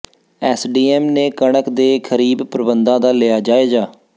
SDM ਨੇ ਕਣਕ ਦੇ ਖ਼ਰੀਬ ਪ੍ਰਬੰਧਾਂ ਦਾ ਲਿਆ ਜਾਇਜ਼ਾ